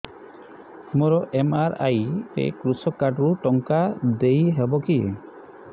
ମୋର ଏମ.ଆର.ଆଇ ରେ କୃଷକ କାର୍ଡ ରୁ ଟଙ୍କା ଦେଇ ହବ କି